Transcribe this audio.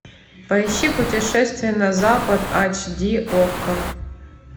поищи путешествие на запад ач ди окко